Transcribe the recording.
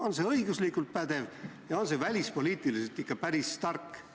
On see õiguslikult pädev ja on see välipoliitiliselt ikka päris tark?